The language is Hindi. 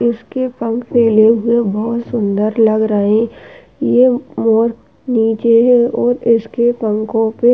इसके पंख खुले हुए बहुत सुंदर लग रहे ये मोर नीचे है और इसके पंखों पे --